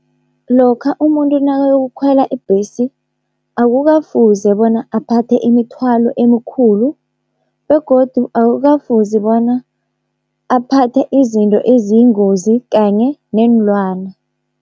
Lokha umuntu nakayokukhwela ibhesi akukafuze bona aphathe imithwalo emikhulu, begodu akukafuze bona aphathe izinto eziyingozi kanye neenlwana.